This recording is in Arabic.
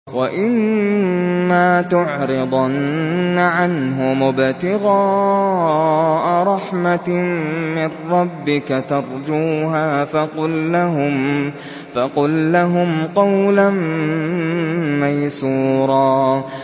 وَإِمَّا تُعْرِضَنَّ عَنْهُمُ ابْتِغَاءَ رَحْمَةٍ مِّن رَّبِّكَ تَرْجُوهَا فَقُل لَّهُمْ قَوْلًا مَّيْسُورًا